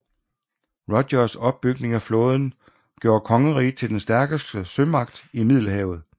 Rogers opbygning af flåden gjorde kongeriget til den stærkeste sømagt i Middelhavet